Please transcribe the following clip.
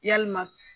Yalima